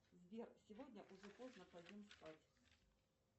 сбер сегодня уже поздно пойдем спать